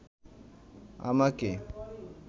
আমাকে